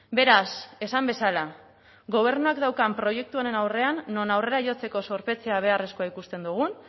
beraz esan bezala gobernuak daukan proiektu honen aurrean non aurrera jotzeko zorpetzea beharrezkoa ikusten dugun